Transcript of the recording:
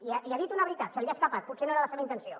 i ha dit una veritat se li ha escapat potser no era la seva intenció